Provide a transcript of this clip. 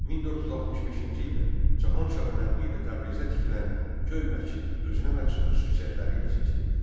1465-ci ildə Cahanshahın əmri ilə Təbrizdə tikilən Göy məscid özünə məxsus xüsusiyyətləri ilə seçilirdi.